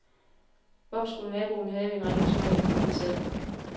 Hvorfor skulle naboen have en ringere smag end en selv?